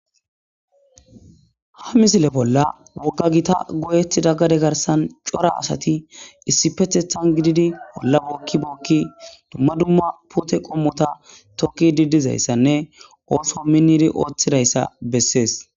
ha misile bolla wogga gita goyeti daggade garsan cora asati issi pethethan gididi bolla bookki bookki dumma dumma pote qommota tokki diddizayssanne ooso miniri ooththidayssa bessees